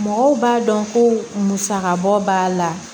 Mɔgɔw b'a dɔn ko musaka bɔ b'a la